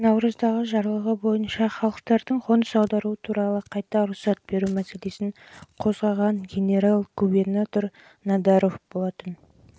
бірақ жылғы наурыздағы жарлық бойынша халықтардың қоныс аударуы туралы қайта рұқсат беру мәселесін қозғаған генерал-губернатор надаров